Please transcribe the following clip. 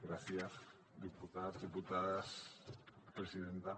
gràcies diputats diputades presidenta